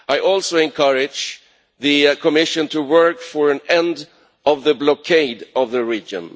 I also encourage the Commission to work for an end to the blockade of the region.